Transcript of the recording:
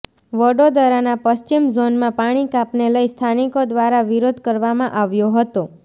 વડોદરાના પશ્ચિમ ઝોનમાં પાણીકાપને લઈ સ્થાનિકો દ્વારા વિરોધ કરવામાં આવ્યો હતો